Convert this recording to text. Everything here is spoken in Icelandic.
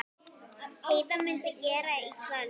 Heiða mundi gera í kvöld.